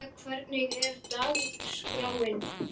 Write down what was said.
María, hvernig er dagskráin?